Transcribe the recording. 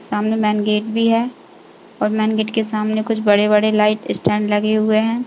सामने main gate भी है और मैन गेट के सामने कुछ बड़े-बड़े लाईट स्टेंड लगे हुए हैं।